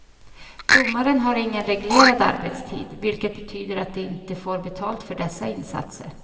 Domare har ingen reglerad arbetstid, vilket betyder att de inte får betalt för dessa insatser.